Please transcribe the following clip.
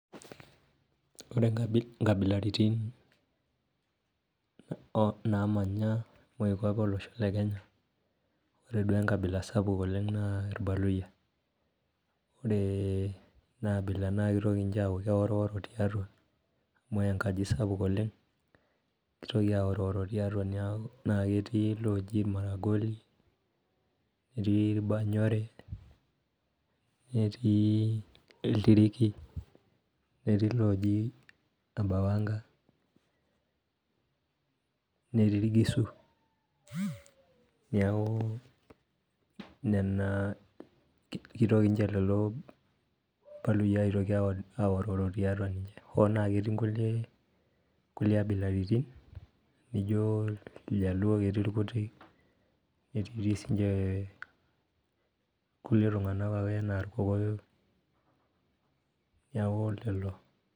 Ore inkabilaritin namanya moipape olosho le Kenya, ore duo enkabila sapuk oleng naa irbaluyia. Ore enaabila naa kitoki nche aku keworo tiatua, amu enkaji sapuk oleng, kitoki aoriworo tiatu naa ketii loji Maragoli, netii Irbanyore, netii Iltiriki, netii loji Ebawanka, netii Irgisu. Niaku nena kitoki nche lelo baluyia aitoki aorworo tiatua ninche. Hoo naa ketii nkulie abilaritin nijo iljaluo ketii irkutik, netii ti sinche kulie tung'anak ake enaa irkokoyo. Niaku lelo.